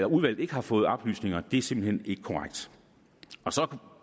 udvalget ikke har fået oplysninger er simpelt hen ikke korrekt så